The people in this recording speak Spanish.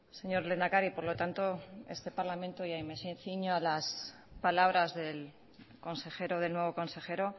señor lehendakari por lo tanto este parlamento ahí me ciño a las palabras del consejero del nuevo consejero